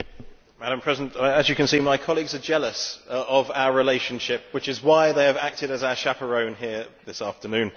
Madam President, as you can see, my colleagues are jealous of our relationship, which is why they have acted as our chaperones here this afternoon.